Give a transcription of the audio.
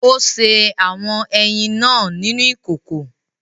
Ó sè awọn ẹyin náà nínú ìkòkò